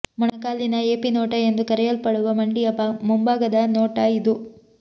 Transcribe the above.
ಮೊಣಕಾಲಿನ AP ನೋಟ ಎಂದು ಕರೆಯಲ್ಪಡುವ ಮಂಡಿಯ ಮುಂಭಾಗದ ನೋಟ ಇದು